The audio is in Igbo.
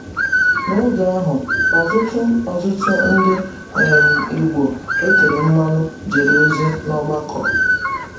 N’oge ahụ, ọtụtụ ọtụtụ ndị um Igbo etere mmanụ jere ozi n’ọgbakọ.